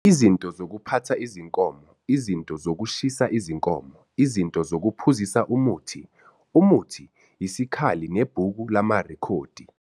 Izinto zokuphatha izinkomo, izinto zokushisa izinkomo, izinto zokuphuzisa umuthi, umuthi, isikhali nebhuku lamarekhodi.